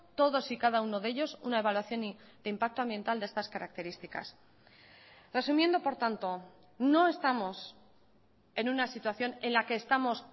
todos y cada uno de ellos una evaluación de impacto ambiental de estas características resumiendo por tanto no estamos en una situación en la que estamos